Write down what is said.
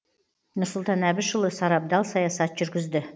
нұрсұлтан әбішұлы сарабдал саясат жүргізді